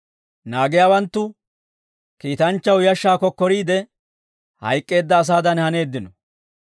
Naagiyaawanttu kiitanchchaw yashshaa kokkoriide, hayk'k'eedda asaadan haneeddino.